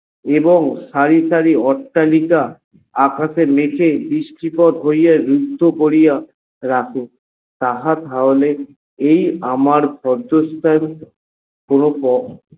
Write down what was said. এবং সারি সারি অট্টালিকা আকাশে মেঘে বৃষ্টি পথ হইয়া মুক্ত করিয়া রাখো তাহা তাহলে এই আমার পদ্য স্থান কোনো।